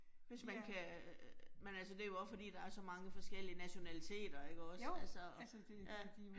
Hvis man kan. Men altså det jo også fordi der er så mange forskellige nationaliteter ikke også. Altså ja